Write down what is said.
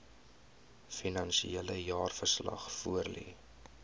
finansiële jaarverslag voorlê